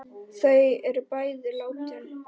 Þau eru bæði látin.